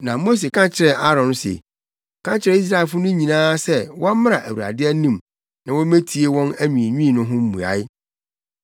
Na Mose ka kyerɛɛ Aaron se, “Ka kyerɛ Israelfo no nyinaa sɛ wɔmmra Awurade anim na wommetie wɔn anwiinwii no ho mmuae.”